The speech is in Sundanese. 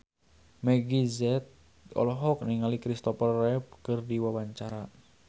Meggie Z olohok ningali Christopher Reeve keur diwawancara